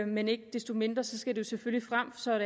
men ikke desto mindre skal det selvfølgelig frem så